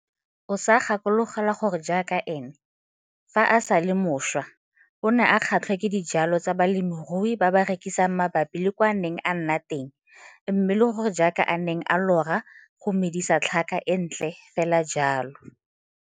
O sa gakologelwa gore jaaka ene, fa a sa le moswa, a ne a kgatlhwa ke dijwalwa tsa balemirui ba ba rekisang mabapi le kwa a neng a nna teng mme le gore jaaka a neng a lora go medisa tlhaka e ntle fela jalo.